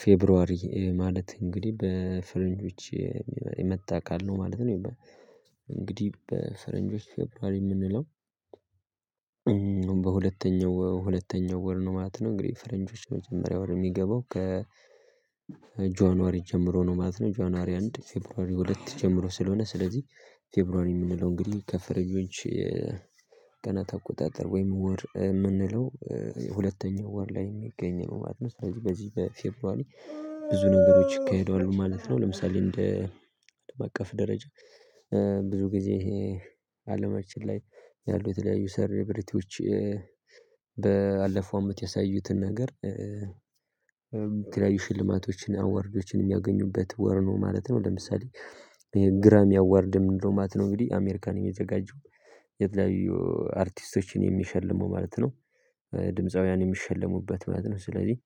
ፌብሩዋሪ ማለት እንግዲህ በፈረንጆች የመጣ ቃል ነው ማለት ነው የሚባለው። በፈረንጆች ፌብሩዋሪ የምንለው። በሁለተኛው ሁለተኛው ወር ነው ማለት ነው እንግዲህ በፈረንጆች የመጀመሪያው ወር የሚገባው። ጆንዋሪ ጀምሮ ነው ማለት ነው። ጆንዋሪ አንድ ፌብርዋሪ ሁለት ጀምሮ ስለሆነ ስለዚህ ፌብርዋሪ የምንለው እንግዲህ ከፈረንጆች። ቀናት ተቆጣጥር ወይም ወር የምንለው ሁለተኛው ወር ላይ የሚገኝ ነው ማለት ነው። ስለዚህ በዚህ በፌበርዋሪ ብዙ ነገሮች ይካሄደዋል ማለት ነው። ለምሳሌ እንደ አለም አቀፍ ደረጃ ብዙ ጊዜ አለማችን ላይ ያሉ የተለያዩ ሰለብሪቲዎች ባለፈው አመት ያሳዩትን ነገር የተለያዩ ሽልማቶችን አዋርዶችን የሚያገኙበት ወር ነው ማለት ነው። ለምሳሌ ግራሚ አዋርድ ምንለው ማለት ነው እንግዲህ አሜሪካ ነው የሚዘጋጀው። የተለያዩ አርቲስቶችን የሚሸልመው ማለት ነው ድምፃውያን የሚሸለሙበት ማለት ነው። ስለዚህ